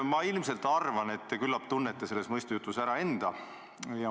Ma arvan, et küllap tunnete selles mõistujutus ära enda.